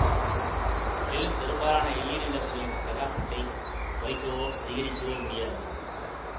மேலும் பெரும்பாலான எல்ஈடி விளக்குகளின் பிரகாசத்தைக் குறைக்கவோ அதிகரிக்கவோ முடியாது